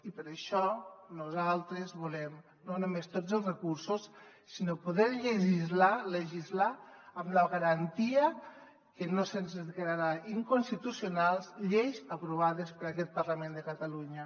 i per això nosaltres volem no només tots els recursos sinó poder legislar amb la garantia que no se’ns declararan inconstitucionals lleis aprovades per aquest parlament de catalunya